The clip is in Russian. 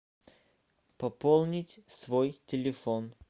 пополнить свой телефон